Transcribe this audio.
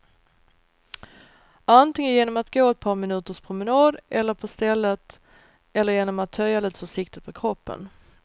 Antingen genom att gå ett par minuters promenad eller på stället, eller genom att töja lite försiktigt på kroppen.